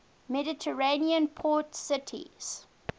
mediterranean port cities